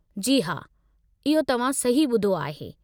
जी हा, इहो तव्हां सही ॿुधो आहे।